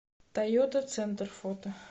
тойота центр фото